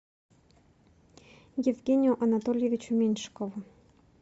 евгению анатольевичу меньшикову